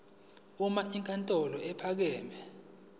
uma inkantolo ephakeme